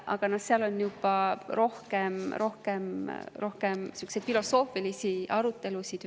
Aga need on juba rohkem sellised filosoofilised arutelud.